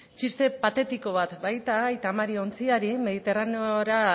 txiste patetiko bat baita aita mari ontziari mediterraneora